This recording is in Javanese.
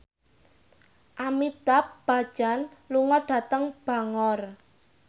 Amitabh Bachchan lunga dhateng Bangor